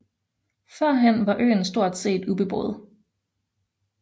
Førhen var øen stort set ubeboet